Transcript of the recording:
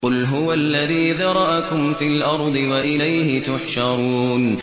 قُلْ هُوَ الَّذِي ذَرَأَكُمْ فِي الْأَرْضِ وَإِلَيْهِ تُحْشَرُونَ